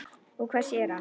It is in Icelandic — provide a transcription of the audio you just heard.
Og hvað sér hann?